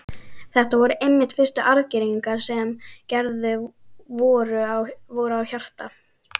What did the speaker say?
Þetta voru einmitt fyrstu aðgerðirnar sem gerðar voru á hjarta.